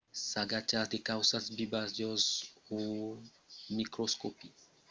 s'agachatz de causas vivas jos un microscòpi veiretz que son fachas de pichons cairats o de bolas